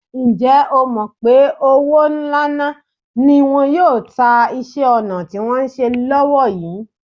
Ǹjẹ́ o mọ̀ pé òwó ńalá́ ni wọn yóò ta iṣẹ́-ọnà tí wọ́n ń ṣe lọ́wó yìí?